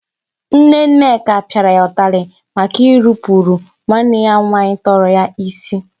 Nne Nneka pịara ya ụtalị maka irupuru nwanne ya nwaanyị tọrọ ya isi.